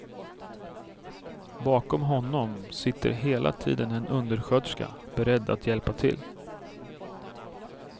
Bakom honom sitter hela tiden en undersköterska beredd att hjälpa till.